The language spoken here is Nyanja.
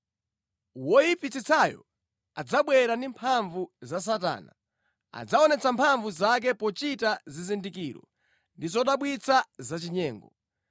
Woyipitsitsayo adzabwera ndi mphamvu za Satana. Adzaonetsa mphamvu zake pochita zizindikiro ndi zodabwitsa zachinyengo.